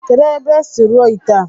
Kedu ebe esi rụọ ite a?